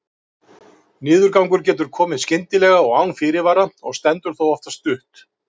Niðurgangur getur komið skyndilega og án fyrirvara og stendur þá oftast stutt.